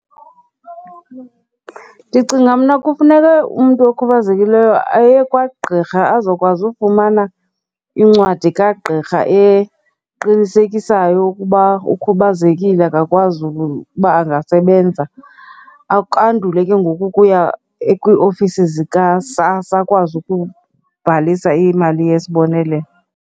Ndicinga mna kufuneke umntu okhubazekileyo aye kwagqirha azokwazi ufumana incwadi kagqirha eqinisekisayo ukuba ukhubazekile akakwazi ukuba angasebenza. Andule ke ngoku ukuya kwiiofisi zikaSASSA akwazi ukubhalisa imali yesibonelelo.